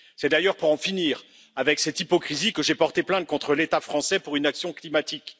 C'est d'ailleurs pour en finir avec cette hypocrisie que j'ai porté plainte contre l'État français pour inaction climatique.